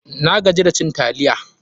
Na gaji da cin taliya.